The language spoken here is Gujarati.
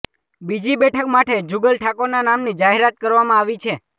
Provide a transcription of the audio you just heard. બીજી બેઠક માટે જુગલ ઠાકોરના નામની જાહેરાત કરવામાં આવી છે